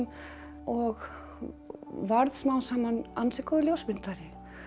og varð smám saman ansi góður ljósmyndari